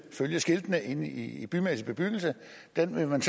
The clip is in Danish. følge skiltene inde i bymæssig bebyggelse det vil man